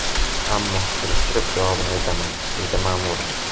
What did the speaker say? Ammo surishtirib, javobini aytaman, dedi Ma’mura.